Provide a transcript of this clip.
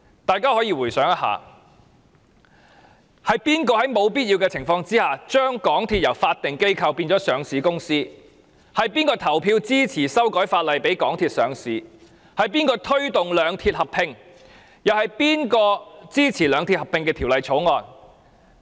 大家回想一下，是誰在沒有必要的情況下，把港鐵由法定機構變為上市公司；是誰投票支持修改法例讓港鐵上市；是誰推動兩鐵合併；是誰支持《兩鐵合併條例草案》。